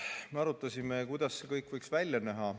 Me arutasime, kuidas see kõik võiks välja näha.